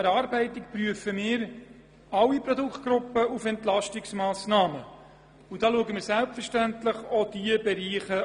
Wir prüfen alle Produktgruppen und betrachten selbstverständlich auch diese Bereiche.